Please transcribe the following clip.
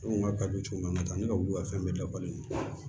Ne ko n ka kabi cogo min na n ka taa ne ka wuli ka fɛn bɛɛ dafalen don